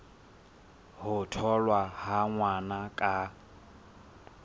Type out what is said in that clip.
ho tholwa ha ngwana ka